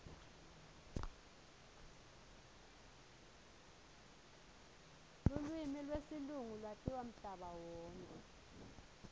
lulwimi lesilungu latiwa mhlaba wonkhe